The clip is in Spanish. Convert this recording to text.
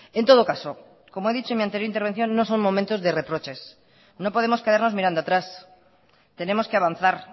en todo caso como he dicho en mi anterior intervención no son momentos de reproches no podemos quedarnos mirando atrás tenemos que avanzar